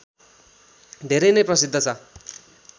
धेरै नैं प्रसिद्ध छ